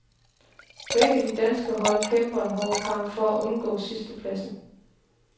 Begge de danske hold kæmper en hård kamp for at undgå sidstepladsen.